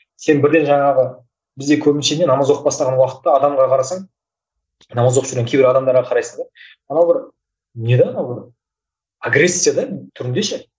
сен бірден жаңағы бізде көбінесе не намаз оқып бастаған уақытта адамға қарасаң намаз оқып жүрген кейбір адамдарға қарайсың да анау бір не де анау бір агрессия да түрінде ше